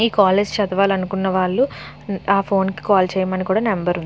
ఈ కాలేజ్ చదవాలి అనుకున్న వాళ్లు నా ఫోన్ కి కాల్ చేయమని కూడా నెంబర్ ఉంది.